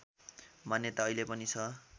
मान्यता अहिले पनि छ